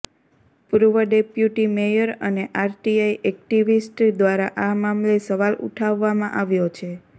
પૂર્વ deputy mayor અને RTI activist દ્વારા આ મામલે સવાલ ઊઠાવવામાં આવ્યો છે